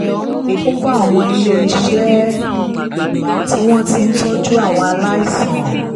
ó wá àwọn ilé-iṣẹ́ tí wọ́n ti ń tọ́jú àwọn aláìsàn